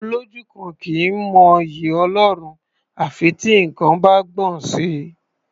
Olójú kan kì í mọ'yì Ọlọ́run à fi tí nǹkan bá gbọ̀n sí i.